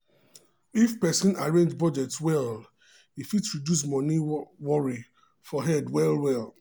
businessman marketing plan help am sell 15 percent more for just first three months.